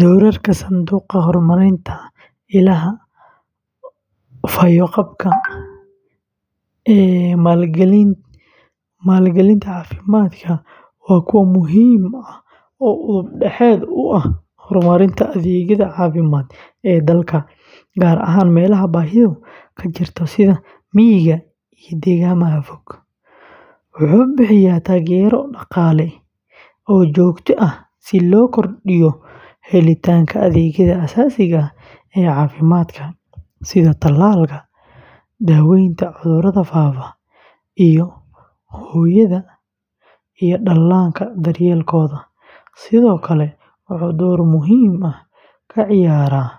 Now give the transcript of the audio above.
Doorarka Sanduuqa Horumarinta Illaaha Fayoqabka ee maalgelinta caafimaadka waa kuwo muhiim ah oo udub dhexaad u ah horumarinta adeegyada caafimaad ee dalka, gaar ahaan meelaha baahidu ka jirto sida miyiga iyo deegaannada fog, wuxuu bixiyaa taageero dhaqaale oo joogto ah si loo kordhiyo helitaanka adeegyada aasaasiga ah ee caafimaadka, sida talaalka, daaweynta cudurrada faafa, iyo hooyada iyo dhallaanka daryeelkooda. Sidoo kale, wuxuu door muhiim ah ka ciyaaraa